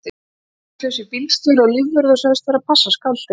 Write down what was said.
Þeir kölluðu sig bílstjóra og lífvörð og sögðust vera að passa skáldið.